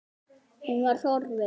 Hún var horfin.